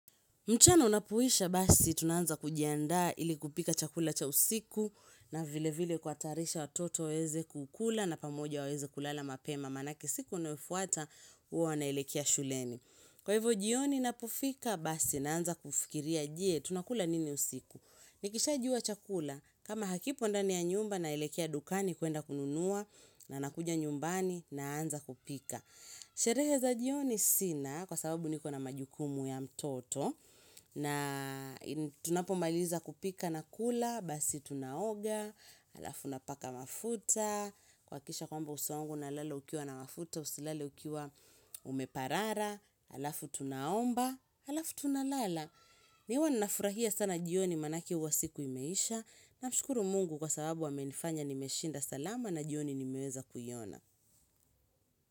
Mchana unapoisha basi tunaanza kujiandaa ili kupika chakula cha usiku na vile vile kuwtarisha watoto waweze kukula na pamoja waweze kulala mapema manake siku inayofuata huwa wanaelekia shuleni. Kwa hivo jioni napofika basi naanza kufikiria je tunakula nini usiku. Nikisha jua chakula kama hakipo ndani ya nyumba naelekea dukani kuenda kununua na nakuja nyumbani naanza kupika. Sherehe za jioni sina kwa sababu niko na majukumu ya mtoto na tunapomaliza kupika na kula, basi tunaoga, alafu napaka mafuta kuhakikisha kwamba uso wangu unalala ukiwa na mafuta, usilale ukiwa umeparara Alafu tunaomba, alafu tunalala mi huwa ninafurahia sana jioni manake huwa siku imeisha Namshukuru mungu kwa sababu amenifanya nimeshinda salama na jioni nimeweza kuiona.